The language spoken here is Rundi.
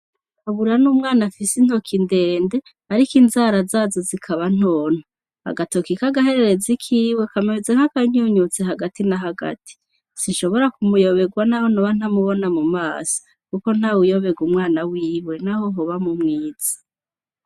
Kabura n' umwana afise intoki ndende ariko inzara zazo zikaba ntonto, agatoki k'agahererezi kiwe kameze nk'akanyunyutse hagati na hagati sinshobora kumuyobegwa n'aho ntoba ntamubona mu maso kuko ntawuyobegwa umwana wiwe naho hoba mu mwiza.